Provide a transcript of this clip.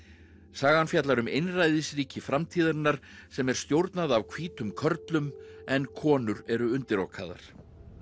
sagan fjallar um einræðisríki framtíðarinnar sem er stjórnað af hvítum körlum en konur eru undirokaðar